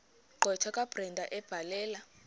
gqwetha kabrenda ebhalela